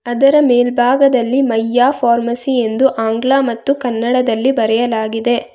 ಅದರ ಮೇಲ್ಭಾಗದಲ್ಲಿ ಮಯ್ಯ ಫಾರ್ಮಸಿ ಎಂದು ಆಂಗ್ಲ ಮತ್ತು ಕನ್ನಡದಲ್ಲಿ ಬರೆಯಲಾಗಿದೆ.